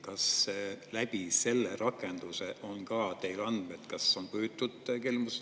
Kas teil on andmeid, kas läbi selle rakenduse on püütud kelmust teha?